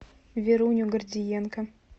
веруню гордиенко